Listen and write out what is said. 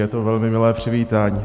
Je to velmi milé přivítání.